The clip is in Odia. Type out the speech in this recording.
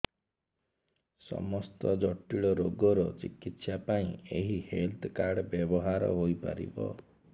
ସମସ୍ତ ଜଟିଳ ରୋଗର ଚିକିତ୍ସା ପାଇଁ ଏହି ହେଲ୍ଥ କାର୍ଡ ବ୍ୟବହାର ହୋଇପାରିବ